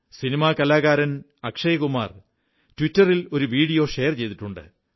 സനിമാ കാലാകാരൻ അക്ഷയ്കുമാർ ട്വിറ്ററിൽ ഒരു video share ചെയ്തിട്ടുണ്ട്